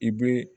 I be